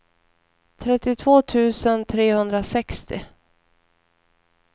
trettiotvå tusen trehundrasextio